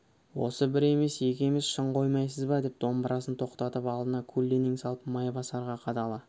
осы бір емес екі емес шын қоймайсыз ба деп домбырасын тоқтатып алдына көлденең салып майбасарға қадала